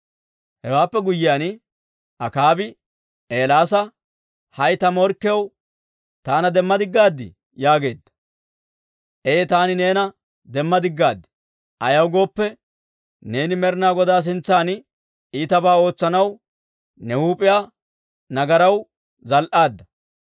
Hewaappe guyyiyaan Akaabi Eelaasa, «hay ta morkkiyaw, taana demmadigaadii?» yaageedda. «Ee, taani neena demma digaad; ayaw gooppe, neeni Med'inaa Godaa sintsan iitabaa ootsanaw, ne huup'iyaa nagaraw zal"aadda.